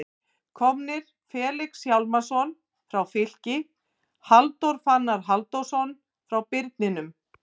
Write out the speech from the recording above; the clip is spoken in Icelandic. Komnir: Felix Hjálmarsson frá Fylki Halldór Fannar Halldórsson frá Birninum